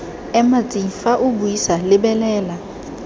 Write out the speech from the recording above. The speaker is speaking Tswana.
ema tsi fa o buisalebelela